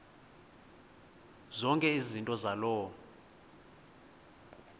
zonke izinto zaloo